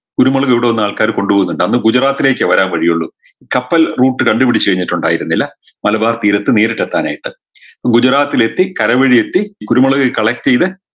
കുരുമുളക് ഇവിട വന്നാൾക്കാർ കൊണ്ട് പോകുന്നുണ്ട് അന്ന് ഗുജറാത്തേക്കേ വരാൻ വഴിയുള്ളു കപ്പൽ route കണ്ട് പിടിച്ച് കഴിഞ്ഞിട്ടുണ്ടായിരുന്നില്ല മലബാർ തീരത്ത് നേരിട്ട് എത്താനായിട്ട് ഗുജറാത്തിലെത്തി കരവഴി എത്തി കുരുമുളക് collect യ്ത്